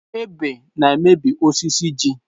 Ebe na-emebi osisi ji.